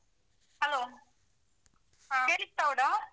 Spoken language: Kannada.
Hello . ಹ. .